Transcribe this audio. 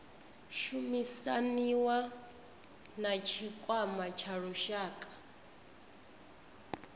shumisaniwa na tshikwama tsha lushaka